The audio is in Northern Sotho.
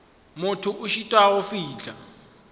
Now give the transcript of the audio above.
motho a šitwago go fihla